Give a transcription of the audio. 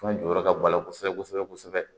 An jɔyɔrɔ ka bɔ a la kosɛbɛ kosɛbɛ kosɛbɛ